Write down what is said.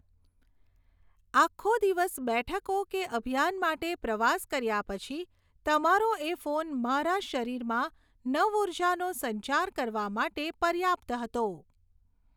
આખો દિવસ બેઠકો કે અભિયાન માટે પ્રવાસ કર્યા પછી તમારો એ ફોન મારા શરીરમાં નવઊર્જાનો સંચાર કરવા માટે પર્યાપ્ત હતો.